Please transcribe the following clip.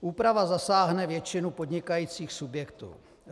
Úprava zasáhne většinu podnikajících subjektů.